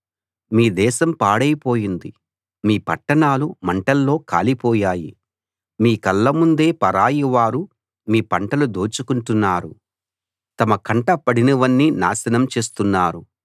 మీ దేశం పాడైపోయింది మీ పట్టణాలు మంటల్లో కాలిపోయాయి మీ కళ్ళముందే పరాయివారు మీ పంటలు దోచుకుంటున్నారు తమ కంట పడినవన్నీ నాశనం చేస్తున్నారు